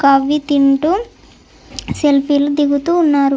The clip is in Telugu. కవి తింటూ సెల్ఫీ లు దిగుతూ ఉన్నారు.